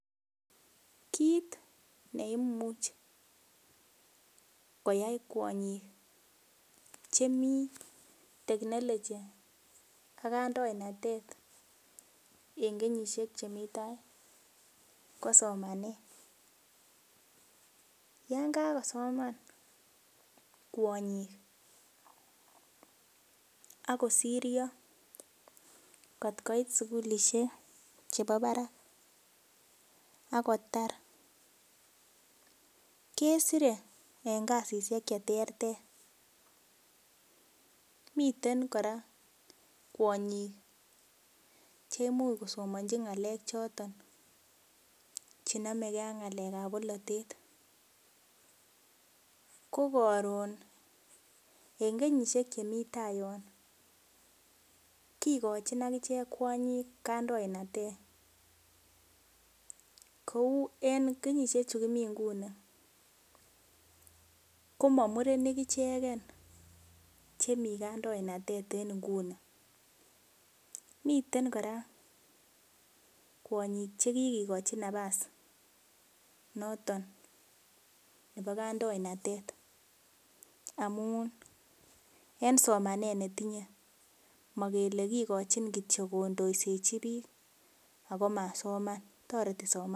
Kit neimuch koyai kwonyik Chemi teknolochi ak kanyoindet en kenyishek Chemi taa ko somanet Yoon kakosoman kwonyik Ako sirio kotkoit sugulishek chebo Barak ak kotar kesire en kasishek cheterter miten kora kwonyik cheimuch kosomonchi ngalek choton che nomekee ak ngalekap bolotet ko koron en kenyishek Chemi tayon kikochin akichek kwonyik kandoinatet koun en kenyishek chu Kimi Nguni komo murenik icheken Chemi kandoinatet en Nguni miten kora kwonyik chekikochi napas noton nepo kandoinatet amun en somanet netinye mokele kityok kondoisechi biik akomasoman toreti somanet